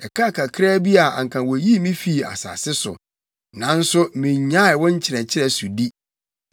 Ɛkaa kakraa bi a anka woyii me fii asase so, nanso minnyaee wo nkyerɛkyerɛ sodi.